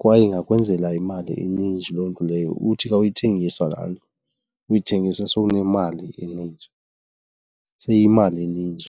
kwaye ingakwenzela imali eninji loo nto leyo uthi ka uyithengisa phandle uyithengise sowunemali eninji, seyiyimali eninji.